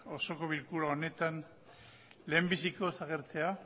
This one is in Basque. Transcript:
osoko bilkura honetan lehendabizikoz agertzea